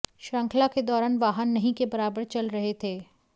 श्रृंखला के दौरान वाहन नहीं के बराबर चल रहे थे